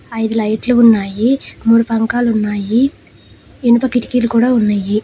ఐదు లైట్లు ఉన్నాయి. మూడు పంకాలు ఉన్నాయి. ఇనుప కిటికీలు కూడా ఉన్నాయి.